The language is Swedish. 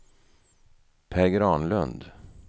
Per Granlund